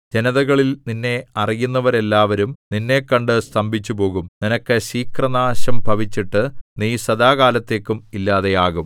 ജനതകളിൽ നിന്നെ അറിയുന്നവരെല്ലാവരും നിന്നെ കണ്ടു സ്തംഭിച്ചുപോകും നിനക്ക് ശീഘ്രനാശം ഭവിച്ചിട്ട് നീ സദാകാലത്തേക്കും ഇല്ലാതെയാകും